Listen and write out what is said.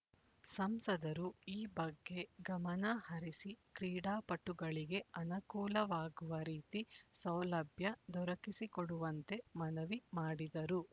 ಸಂಸದರು ಈ ಬಗ್ಗೆ ಗಮನ ಹರಿಸಿ ಕ್ರೀಡಾಪಟುಗಳಿಗೆ ಅನಕೂಲವಾಗುವ ರೀತಿ ಸೌಲಭ್ಯ ದೊರಕಿಸಿಕೊಡುವಂತೆ ಮನವಿ ಮಾಡಿದರು